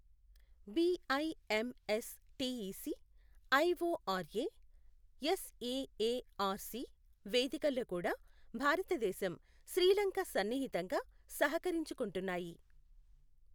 BIMS TEC, IORA, SAARC వేదికల్లో కూడా భారతదేశం, శ్రీ లంక సన్నిహితంగా సహకరించుకొంటున్నాయి.